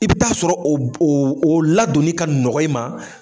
I bi taa sɔrɔ o b oo o ladonnin ka nɔgɔ i ma